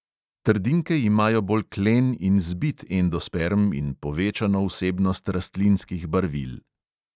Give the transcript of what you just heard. Trdinke imajo bolj klen in zbit endosperm in povečano vsebnost rastlinskih barvil.